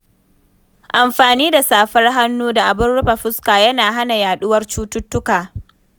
Amfani da safar hannu da abin rufe fuska yana hana yaɗuwar cututtuka.